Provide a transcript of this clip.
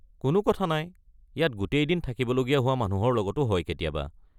কোনো কথা নাই, ইয়াত গোটেই দিন থাকিবলগীয়া হোৱা মানুহৰ লগতো হয় কেতিয়াবা।